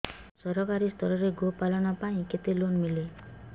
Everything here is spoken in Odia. ସରକାରୀ ସ୍ତରରେ ଗୋ ପାଳନ ପାଇଁ କେତେ ଲୋନ୍ ମିଳେ